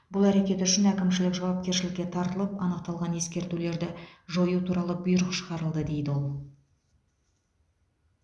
бұл әрекеті үшін әкімшілік жауапкершілікке тартылып анықталған ескертулерді жою туралы бұйрық шығарылды дейді ол